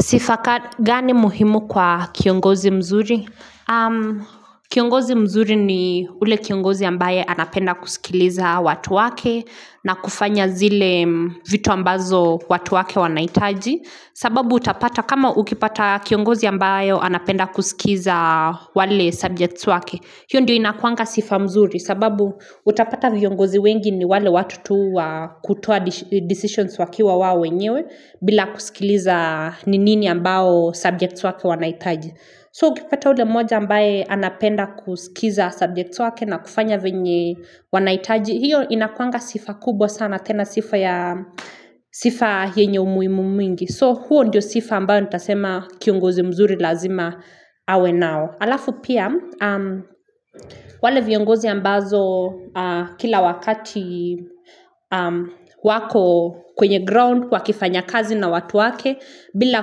Sifa gani muhimu kwa kiongozi mzuri? Kiongozi mzuri ni yule kiongozi ambaye anapenda kusikiliza watu wake na kufanya zile vitu ambazo watu wake wanahitaji. Sababu utapata kama ukipata kiongozi ambayo anapenda kusikiza wale subjects wake. Hiyo ndio inakuanga sifa mzuri sababu utapata viongozi wengi ni wale watu tu wa kutoa decisions wakiwa wao wenyewe bila kusikiliza ni nini ambayo subjects wako wanahitaji So ukipata ule moja ambaye anapenda kusikiza subjects wake na kufanya venye wanahitaji hiyo inakuanga sifa kubwa sana tena sifa ya sifa yenye umuhimu mwingi So huo ndio sifa ambayo nitasema kiongozi mzuri lazima awe nao Alafu pia wale viongozi ambazo kila wakati wako kwenye ground wakifanya kazi na watu wake bila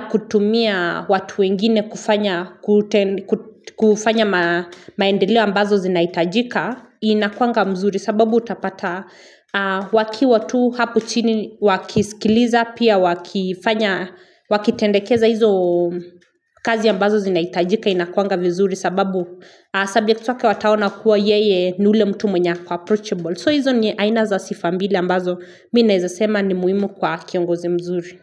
kutumia watu wengine kufanya maendeleo ambazo zinahitajika inakuanga mzuri sababu utapata wakiwa tu hapo chini wakisikiliza pia wakifanya wakitendekeza hizo kazi ambazo zinahitajika inakuwanga vizuri sababu subjects wake wataona kuwa yeye ni yule mtu mwenye ako approachable So hizo ndiye aina za sifa mbili mbazo mimi naweza sema ni muhimu kwa kiongozi mzuri.